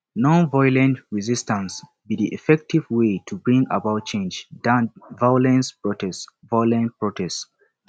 nonviolent resistance be di effective way to bring about change than violent protest violent protest